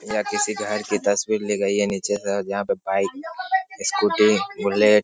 यह किसी घर की तस्वीर ली गई है नीचे से और यहां पे बाइक स्कूटी बूलेट --